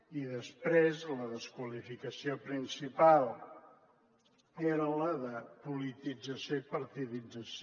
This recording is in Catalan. i després la desqualificació principal era la de politització i partidització